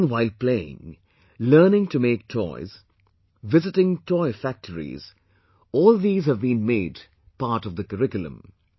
Learning while playing, learning to make toys, visiting toy factories, all these have been made part of the curriculum